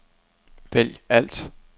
vælg alt